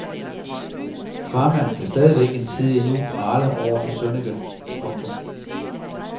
Farmand kan stadigvæk en tid endnu prale over for sønnike. punktum